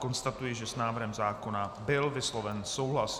Konstatuji, že s návrhem zákona byl vysloven souhlas.